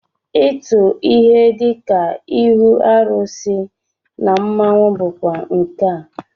Ịtụ ihe dịka ihu arụsị na mmọnwụ bụkwa nkà